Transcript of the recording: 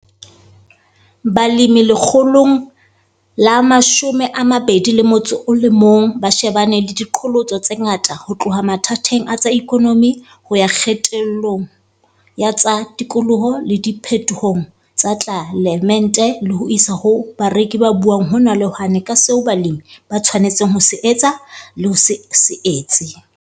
Balemi lekgolong la 21 ba shebane le diqholotso tse ngata ho tloha mathateng a tsa ikonomi ho ya kgetellong ya tsa tikoloho le diphetohong tsa tlelaemete le ho isa ho bareki ba buang hona le hwane ka seo balemi ba shwanetseng ho se etsa le ho se etse.